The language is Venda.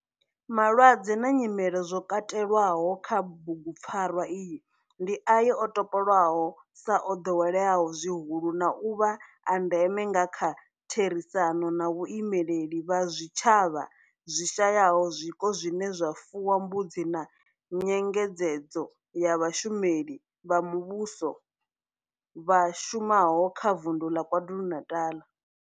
Malwadze na nyimele zwo katelwaho kha bugu pfarwa iyi ndi ayo o topolwaho sa o doweleaho zwihulu na u vha a ndeme nga kha therisano na vhaimeleli vha zwitshavha zwi shayaho zwiko zwine zwa fuwa mbudzi na nyengedzedzo ya vhashumeli vha muvhusho vha shumaho kha Vundu la KwaZulu-Natal.